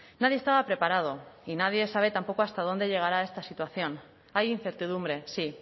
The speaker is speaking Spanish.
nadie estaba preparado y nadie sabe tampoco hasta dónde llegará esta situación hay incertidumbre sí